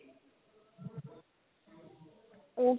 ਉਹ